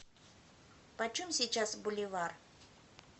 почем сейчас боливар